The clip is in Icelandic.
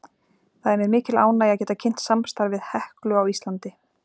Það er mér mikil ánægja að geta kynnt samstarf við HEKLU á Íslandi.